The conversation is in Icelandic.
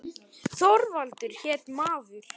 Þorvaldur hét maður.